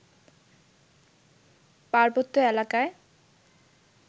পার্বত্য এলাকায়